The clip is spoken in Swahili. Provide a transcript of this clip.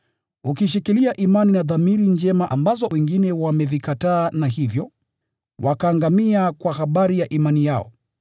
ukiishikilia imani na dhamiri njema, ambazo wengine wamevikataa, na hivyo wakaangamia kwa habari ya imani yao.